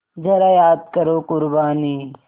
ज़रा याद करो क़ुरबानी